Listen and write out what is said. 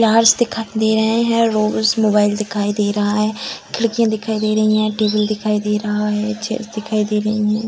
Flowers दिखाई दे रहे हैं रोज़ मोबाइल दिखाई दे रहा है खिड़कियाँ दिखाई दे रही हैं टेबल दिखाई दे रहा है चेयर्स दिखाई दे रही हैं।